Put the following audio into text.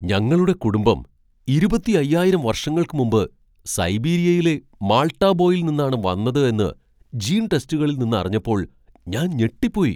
ഞങ്ങളുടെ കുടുംബം ഇരുപത്തി അയ്യായിരം വർഷങ്ങൾക്ക് മുമ്പ് സൈബീരിയയിലെ മാൾട്ടാ ബോയിൽ നിന്നാണ് വന്നത് എന്ന് ജീൻ ടെസ്റ്റുകളിൽ നിന്ന് അറിഞ്ഞപ്പോൾ ഞാൻ ഞെട്ടിപ്പോയി.